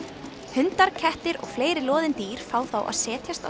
hundar kettir og fleiri loðin dýr fá þá að setjast á